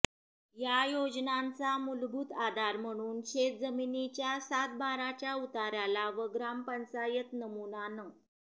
या योजनांचा मूलभूत आधार म्हणून शेतजमिनीच्या सातबाराच्या उताऱ्याला व ग्रामपंचायत नमुना नं